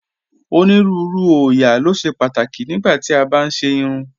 Onírùúrù oóyà lo ṣẹ̀ pátákì nígbà tí a bá n ṣè irùn